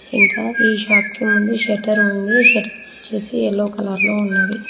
ఇంకా ఈ షాప్ కి ముందు షట్టర్ ఉంది షట్టర్ వచ్చేసి ఎల్లో కలర్ లో ఉంది.